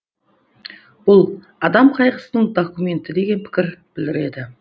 бұл адам қайғысының документі деген пікір білдіреді